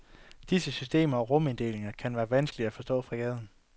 Disse systemer og ruminddelingen kan være vanskelige at forstå fra gaden.